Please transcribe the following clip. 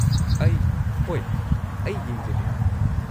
ꯑꯩ , ꯍꯣꯏ, ꯑꯩ ꯌꯦꯡꯖꯒꯦ꯫